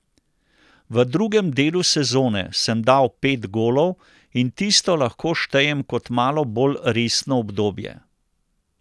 V drugem delu sezone sem dal pet golov in tisto lahko štejem kot malo bolj resno obdobje.